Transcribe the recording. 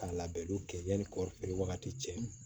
Ka labɛnniw kɛ yanni kɔɔrifeere wagati cɛ